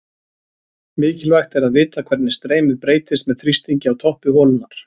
Mikilvægt er að vita hvernig streymið breytist með þrýstingi á toppi holunnar.